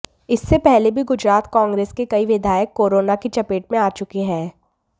इससे पहले भी गुजरात कांग्रेस के कई विधायक कोरोना की चपेट में आ चुके हैं